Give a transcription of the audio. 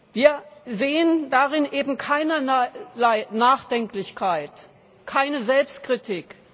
Wir sehen darin eben keinerlei Nachdenklichkeit, keine Selbstkritik.